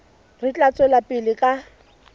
re tla tswela pele ka